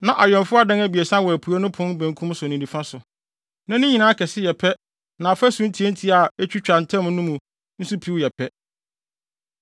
Na awɛmfo adan abiɛsa wɔ apuei pon no benkum so ne nifa so; na ne nyinaa kɛse yɛ pɛ na afasu ntiantia a etwitwa ntam no nso mu piw yɛ pɛ.